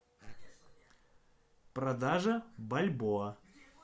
продажа бальбоа